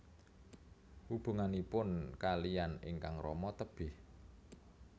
Hubunganipun kaliyan ingkang rama tebih